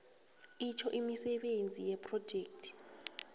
itjho imisebenzi yephrojekhthi